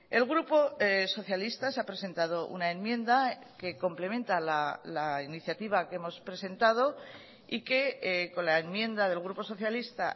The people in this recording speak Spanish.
el grupo socialistas ha presentado una enmienda que complementa la iniciativa que hemos presentado y que con la enmienda del grupo socialista